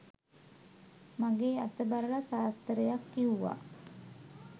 මගේ අත බලලා සාස්තරයක් කිව්වා.